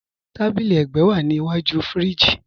Tàbílí ègbẹ́ wa ní ìwájú fíríjì.